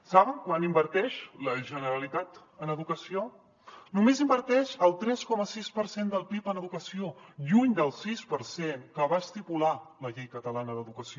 saben quant inverteix la generalitat en educació només inverteix el tres coma seis per cent del pib en educació lluny del sis per cent que va estipular la llei catalana d’educació